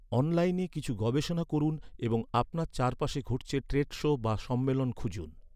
অনলাইনে কিছু গবেষণা করুন এবং আপনার চারপাশে ঘটছে ট্রেড শো বা সম্মেলন খুঁজুন।